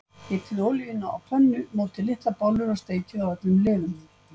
Hitið olíuna á pönnu, mótið litlar bollur og steikið á öllum hliðum.